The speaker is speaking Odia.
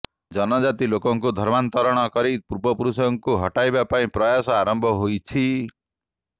ଜନଜାତି ଲୋକଙ୍କୁ ଧର୍ମାନ୍ତରଣ କରି ପୂର୍ବପୁରୁଷଙ୍କୁ ହଟାଇବା ପାଇଁ ପ୍ରୟାସ ଆରମ୍ଭ ହୋଇଛି